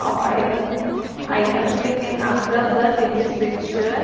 of iron items we can observe that in this picture--